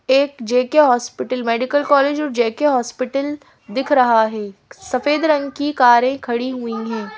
एक J K hospital medical college और J K hospital दिख रहा है सफेद रंग की कारें खड़ी हुई हैं।